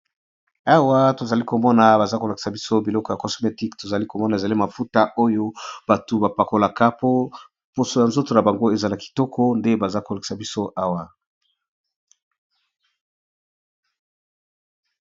Awa tozali komona baza kolakisa biso biloko ya cosmetique, tozali komona ezali mafuta oyo bato ba pakolaka po poso ya nzoto na bango ezala kitoko nde baza ko lakisa biso awa.